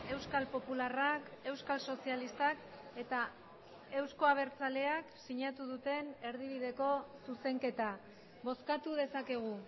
euskal popularrak euskal sozialistak eta euzko abertzaleak sinatu duten erdibideko zuzenketa bozkatu dezakegu